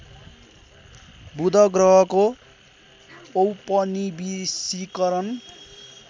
बुध ग्रहको औपनिवेशीकरण